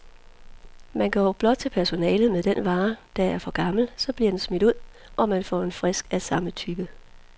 Man går blot til personalet med den vare, der er for gammel, så bliver den smidt ud, og man får en frisk af samme type.